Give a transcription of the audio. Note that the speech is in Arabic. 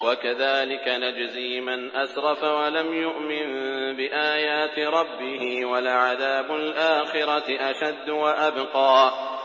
وَكَذَٰلِكَ نَجْزِي مَنْ أَسْرَفَ وَلَمْ يُؤْمِن بِآيَاتِ رَبِّهِ ۚ وَلَعَذَابُ الْآخِرَةِ أَشَدُّ وَأَبْقَىٰ